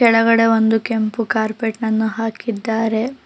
ಕೆಳಗಡೆ ಒಂದು ಕೆಂಪು ಕಾರ್ಪೆಟ್ ಅನ್ನು ಹಾಕಿದ್ದಾರೆ.